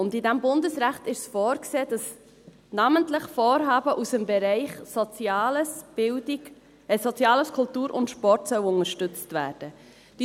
In diesem Bundesrecht ist vorgesehen, dass namentlich Vorhaben aus dem Bereich Soziales, Kultur und Sport unterstützt werden sollen.